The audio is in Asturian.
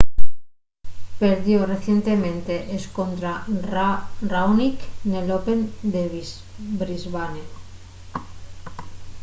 perdió recientemente escontra raonic nel open de brisbane